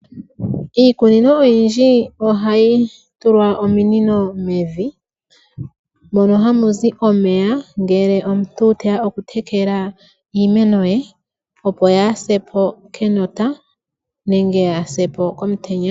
Iikunino oyindji ohayi tulwa ominino mevi mono hamuzi omeya ngele omuntu teya oku tekela iimeno ye opo yase po kenota nenge yase po komutenya.